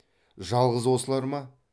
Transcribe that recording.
жалғыз осылар ма